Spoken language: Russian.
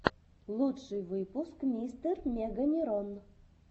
лучший выпуск мистер меганерон